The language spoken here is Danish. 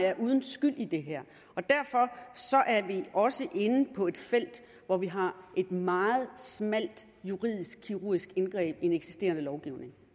er uden skyld i det her og derfor er vi også inde på et felt hvor vi har et meget smalt juridisk kirurgisk indgreb i en eksisterende lovgivning